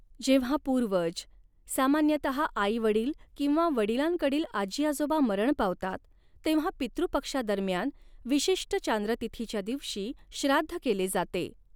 जेव्हा पूर्वज, सामान्यतहा आई वडील किंवा वडिलांकडील आजी आजोबा मरण पावतात तेव्हा पितृ पक्षादरम्यान विशिष्ट चांद्र तिथीच्या दिवशी श्राद्ध केले जाते.